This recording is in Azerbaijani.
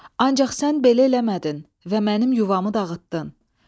Ancaq sən belə eləmədin və mənim yuvamı dağıtdın.